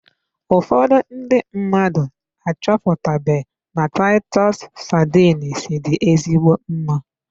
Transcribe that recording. Ụfọdụ ndị mmadụ achọpụtabe na titus sardines dị ezigbo mma.